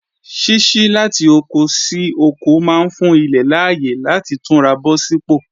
Ṣíṣí láti oko sí oko máa ń fún ilẹ̀ láyè láti túnra bọ̀ sí pò